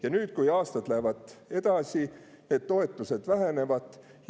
Ja nüüd, kui aastad lähevad edasi, need toetused vähenevad.